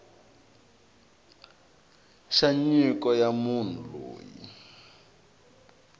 xa nyiko ya munhu loyi